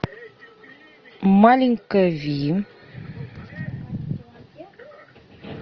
маленькая ви